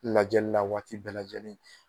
Lajɛli la waati bɛɛ lajɛlen